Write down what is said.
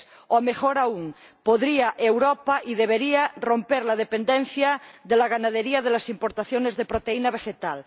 o, mejor aún, Europa podría y debería romper la dependencia de la ganadería de las importaciones de proteína vegetal.